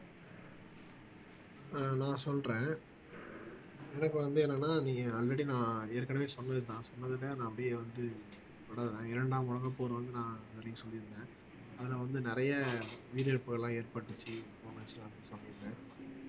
ஆஹ் நான் சொல்றேன் எனக்கு வந்து என்னன்னா நீங்க ஆல்ரெடி நான் ஏற்கனவே சொன்னது நான் சொன்னதுல நான் அப்படியே வந்து தொடறேன் இரண்டாம் உலகப்போர் வந்து நான் அப்படின்னு சொல்லிருந்தேன் அதுல வந்து நிறைய உயிரிழப்புகள் எல்லாம் ஏற்பட்டுச்சு